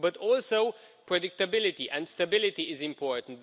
Also, predictability and stability is important.